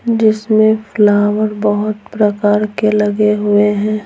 जिसमें फ्लावर बहुत प्रकार के लगे हुए हैं।